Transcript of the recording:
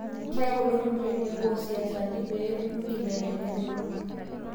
Keeku ilo torurr teneboo o siasani pee etumi nkibelekenyat e kodi